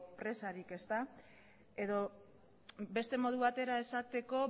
presarik edo beste modu batera esateko